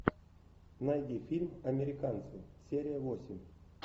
найди фильм американцы серия восемь